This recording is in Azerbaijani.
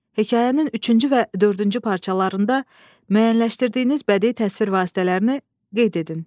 Hekayənin üçüncü və dördüncü parçalarında müəyyənləşdirdiyiniz bədii təsvir vasitələrini qeyd edin.